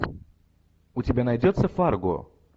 у тебя найдется фарго